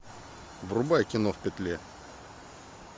врубай кино в петле